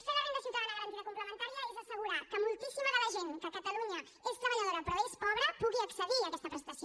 fer la renda ciutadana garantida complementària és assegurar que moltíssima de la gent que a catalunya és treballadora però és pobra pugui accedir a aquesta prestació